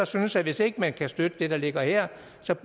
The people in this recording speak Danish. synes at hvis ikke man kan støtte det der ligger her